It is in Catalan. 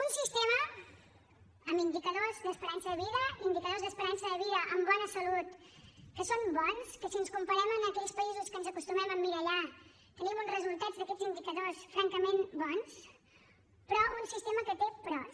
un sistema amb indicadors d’esperança de vida indicadors d’esperança de vida amb bona salut que són bons si ens comparem amb aquells països en què ens acostumem a emmirallar tenim uns resultats d’aquests indicadors francament bons però un sistema que té peròs